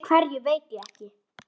Fyrir hverju veit ég ekki.